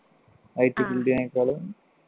IT field നേക്കാളും